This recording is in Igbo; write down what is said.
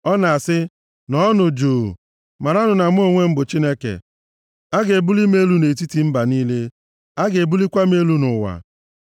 Ọ na-asị, “Nọọnụ juu! Maranụ na mụ onwe m bụ Chineke! A ga-ebuli m elu nʼetiti mba niile, a ga-ebulikwa m elu nʼụwa.”